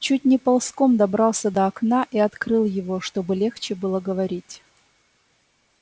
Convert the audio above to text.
чуть не ползком добрался до окна и открыл его чтобы легче было говорить